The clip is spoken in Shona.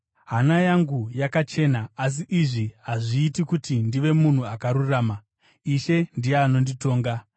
Hana yangu yakachena, asi izvi hazviiti kuti ndive munhu akarurama. Ishe ndiye anonditonga.